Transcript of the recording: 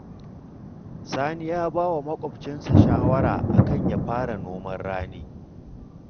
Sani ya ba wa maƙwabcinsa shawara a kan ya fara noman rani